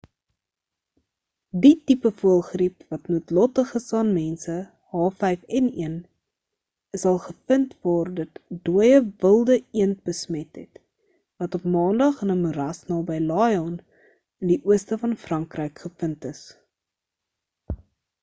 die tipe voëlgriep wat noodlottig is aan mense h5n1 is al gevind waar dit ‘n dooie wilde eend besmet het wat op maandag in ‘n moeras naby lyon in die ooste van frankryk gevind is